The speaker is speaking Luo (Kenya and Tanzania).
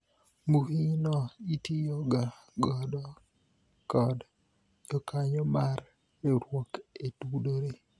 mbui no itiyo ga godo kod jokanyo mar riwruok e tudore